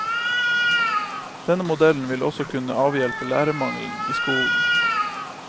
Denne modellen vil også kunne avhjelpe lærermangelen i skolen.